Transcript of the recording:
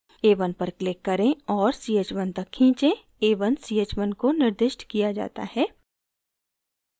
a1 पर click करें और ch1 तक खींचें a1 ch1 को निर्दिष्ट किया जाता है